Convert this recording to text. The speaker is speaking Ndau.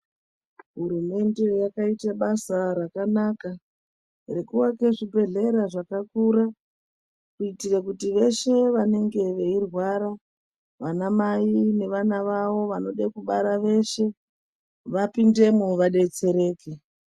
Hurumende yakaita basa rakanaka, rekuake zvibhedhlera zvakakura. Kuitire kuti veshe vanenge veirwara, vanamai, nevana vavo vanode kubara veshe, vapindemwo vadetsereke.